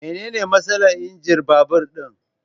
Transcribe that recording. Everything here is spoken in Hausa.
Mene ne matsalar injin babur din?